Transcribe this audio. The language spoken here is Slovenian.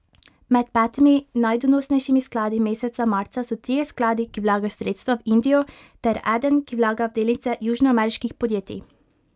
Med petimi najdonosnejšimi skladi meseca marca so trije skladi, ki vlagajo sredstva v Indijo ter eden, ki vlaga v delnice južnoameriških podjetij.